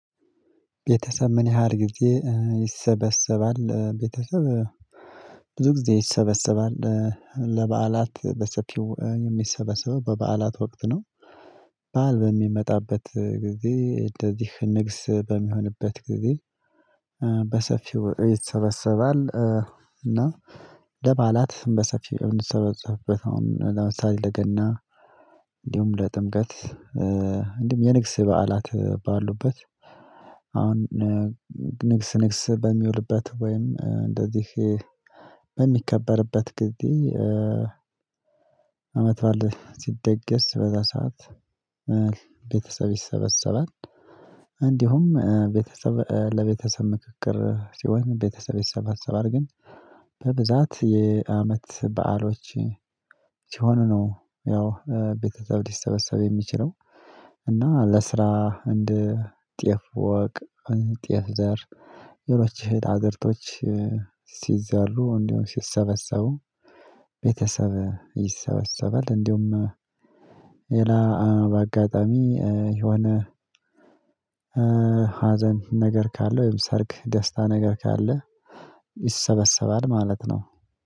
ቤተሰብ ምን ያህል ጊዜ ይሰበሰባል? ቤተሰብ ብዙ ጊዜ ይሰበሰባል ለበዓላት በሰፊው የሚሰበሰበው በበዓላት ወቅት ነው። በዓል በሚመጣበት ጊዜ እንደዚህ ንግስ በሚሆንበት ጊዜ። በሰፊው ይሰበሰባል እና ለበዓላት በሰፊው የምንሰበሰብበት አሁን ለምሳሌ ለገና እንዲሁም ለጥምቀት እንዲሁም የንግስ በዓላት ባሉበት። አሁን ንግስ ንግስ በሚውልበት ወይም እንደዚህ በሚከበርበት ጊዜ። አመት ባል ሲደገስ በዛ ሰዓት ቤተሰብ ይሰበሰባል። እንዲሁም ቤተሰብ ለቤተሰብ ምክክር ሲሆን ቤተሰብ ይሰበሰባል ግን በብዛት የአመት በዓሎች ሲሆኑ ነው ያው ቤተሰብ ሊሰበሰብ የሚችለው። እና ለስራ እንደ ጤፍ ወቅ ጤፍ ዘር ሌሎች እህል አዝርቶች ሲዘሩ እንዲሁም ሲሰበሰቡ ቤተሰብ ይሰበሰባል። እንዲሁም ሌላ በአጋጣሚ የሆነ ሀዘን ነገር ካለ ወይም ሰርክ ደስታ ነገር ካለ ይሰበሰባል ማለት ነው።